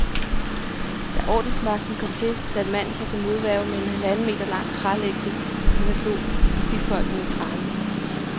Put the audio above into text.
Da ordensmagten kom til, satte manden sig til modværge med en halvanden meter lang trælægte, som han slog politifolkenes arme med.